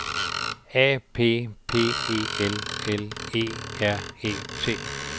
A P P E L L E R E T